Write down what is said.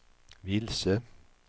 vilse